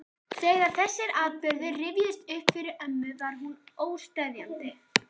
Þegar þessir atburðir rifjuðust upp fyrir ömmu var hún óseðjandi.